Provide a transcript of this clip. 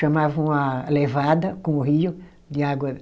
Chamavam a levada com o rio de água